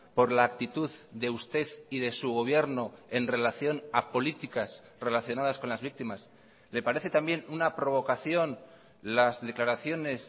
por la actitud de usted y de su gobierno en relación a políticas relacionadas con las víctimas le parece también una provocación las declaraciones